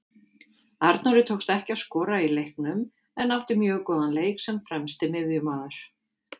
Arnóri tókst ekki að skora í leiknum en átti mjög góðan leik sem fremsti miðjumaður.